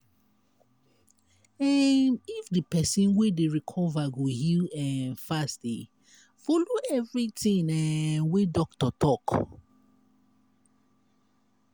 um if di pesin wey dey recover go heal um fast e follow everything um wey doctor talk.